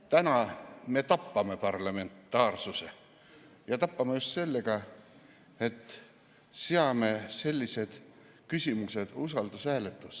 Täna me tapame parlementaarsust ja tapame just sellega, et seome sellised küsimused usaldushääletusega.